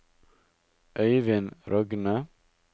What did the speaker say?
Øyvind Rogne